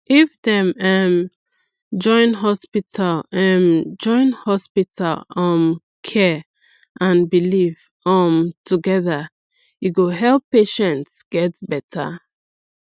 if dem um join hospital um join hospital um care and belief um together e go help patients get better